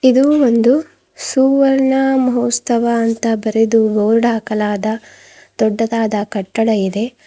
ಇದು ಒಂದು ಸುವರ್ಣ ಮಹೋತ್ಸವ ಅಂತ ಬರೆದು ಬೋರ್ಡ್ ಹಾಕಲಾದ ದೊಡ್ಡದಾದ ಕಟ್ಟಡ ಇದೆ.